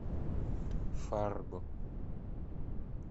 фарго